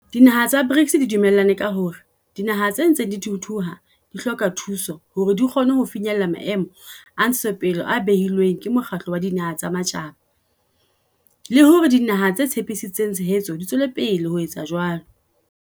Mebala ya folakga ha e na moelelo o ikgethileng mme ka hona ha ho na boemedi ba kakaretso bo lokelang ho amangwa le mebala ena ya folakga.